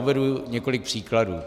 Uvedu několik příkladů.